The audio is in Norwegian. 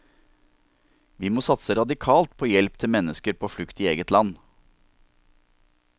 Vi må satse radikalt på hjelp til mennesker på flukt i eget land.